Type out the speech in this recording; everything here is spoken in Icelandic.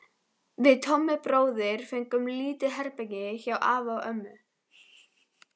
Við Tommi bróðir fengum lítið herbergi hjá afa og ömmu.